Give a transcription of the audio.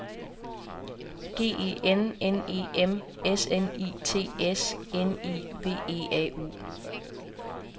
G E N N E M S N I T S N I V E A U